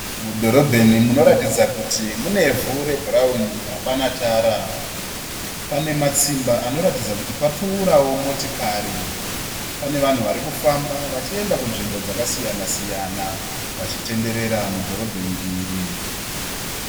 Mudhorobheni munoratidza kuti munevhu rebhurauni hapana tara. Pane matsimba anoratidza kuti papfuurawo motikari. Pane vanhu varikufamba vachienda kunzvimbo dzakasiyana siyana vachitenderera mudhorobheni iri